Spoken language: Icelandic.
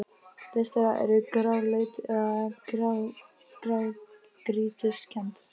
Flest þeirra eru gráleit eða grágrýtiskennd.